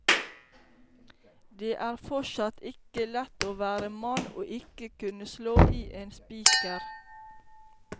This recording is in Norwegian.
Det er forsatt ikke lett å være mann og ikke kunne slå i en spiker.